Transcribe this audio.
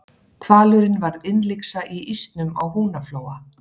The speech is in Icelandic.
hvalurinn varð innlyksa í ísnum á húnaflóa